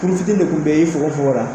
kuru fitinin de tun bɛ i fogofogo la